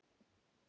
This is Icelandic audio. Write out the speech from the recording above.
Hver er áin?